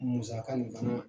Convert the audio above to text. Musaka nin fana